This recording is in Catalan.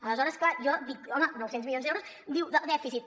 aleshores clar jo dic home nou cents milions d’euros diu dèficit